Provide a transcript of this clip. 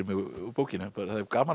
úr bókinni það er gaman